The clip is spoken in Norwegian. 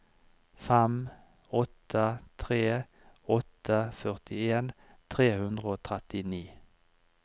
fem åtte tre åtte førtien tre hundre og trettini